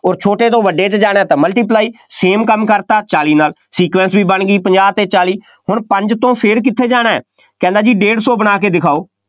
ਅੋਰ ਛੋਟੇ ਤੋਂ ਵੱਡੇ 'ਚ ਜਾਣਾ ਤਾਂ multiply same ਕੰੰਮ ਕਰਤਾ ਚਾਲੀ ਨਾਲ, sequence ਵੀ ਬਣ ਗਈ, ਪੰਜਾਹ ਅਤੇ ਚਾਲੀ, ਹੁਣ ਪੰਜ ਤੋਂ ਫੇਰ ਕਿੱਥੇ ਜਾਣਾ, ਕਹਿੰਦਾ ਜੀ ਡੇਢ ਸੌ ਬਣਾ ਕੇ ਦਿਖਾਓ।